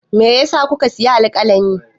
Me ya sa kuka sayi alƙalami?